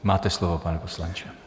Máte slovo, pane poslanče.